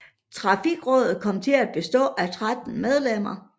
Trafikrådet kom til at bestå af 13 medlemmer